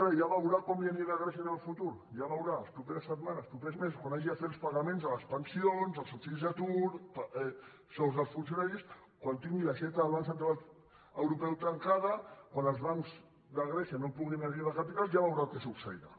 ja veurà com li anirà a grècia en el futur ja ho veurà les properes setmanes els propers mesos quan hagi de fer els pagaments de les pensions els subsidis d’atur els sous dels funcionaris quan tingui l’aixeta del banc central europeu tancada quan els bancs de grècia no puguin arribar a capitals ja veurà què succeirà